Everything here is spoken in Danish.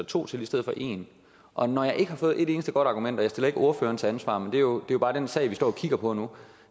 to til i stedet for en og når jeg ikke har fået et eneste godt argument og jeg stiller ikke ordføreren til ansvar men det jo bare den sag vi står og kigger på nu